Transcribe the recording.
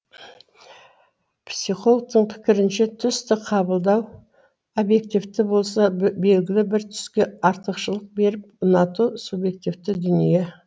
психологтың пікірінше түсті қабылдау объективті болса белгілі бір түске артықшылық беріп ұнату субъективті дүние